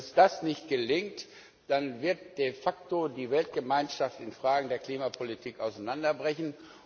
Wenn uns das nicht gelingt, dann wird de facto die Weltgemeinschaft in Fragen der Klimapolitik auseinanderbrechen.